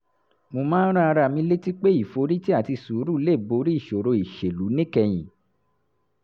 mo máa ń rán ara mi létí pé ìforítì àti sùúrù lè borí ìṣòro ìṣèlú níkẹyìn